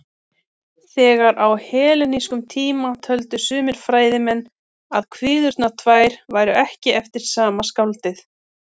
Þegar á hellenískum tíma töldu sumir fræðimenn að kviðurnar tvær væru ekki eftir sama skáldið.